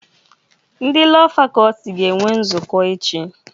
Ndị Lọọ Fakọlti ga-enwe nzukọ echi.